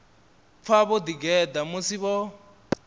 pfa vho ḓigeḓa musi vho